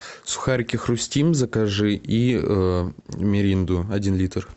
сухарики хрустим закажи и миринду один литр